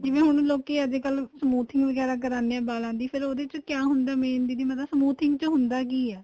ਜਿਵੇਂ ਹੁਣ ਲੋਕੀਂ ਅੱਜਕਲ smoothing ਵਗੈਰਾ ਕਰਾਦੇ ਏ ਵਾਲਾਂ ਦੀ ਫ਼ੇਰ ਉਹਦੇ ਵਿੱਚ ਕਿਹਾ ਹੁੰਦਾ ਏ main ਦੀਦੀ ਮਤਲਬ smoothing ਵਿੱਚ ਹੁੰਦਾ ਕੀ ਏ